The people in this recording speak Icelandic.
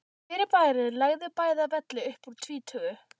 Fyrirbærið lagði bæði að velli upp úr tvítugu.